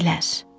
yedilər,